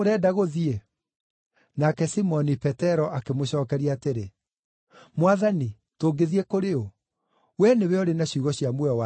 Nake Simoni Petero akĩmũcookeria, atĩrĩ, “Mwathani, tũngĩthiĩ kũrĩ ũ? Wee nĩwe ũrĩ na ciugo cia muoyo wa tene na tene.